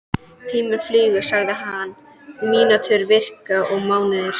Tíminn flýgur sagði hann, mínútur, vikur og mánuðir.